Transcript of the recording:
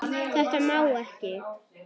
Þetta má ekki.